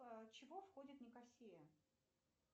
чего входит никосия